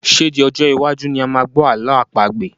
Ṣé di Ọjọ́ iwájú ni a máa gbọ́ ààlọ́ àpagbè?